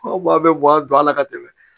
Aw bɛ bɔ a don a la ka tɛmɛ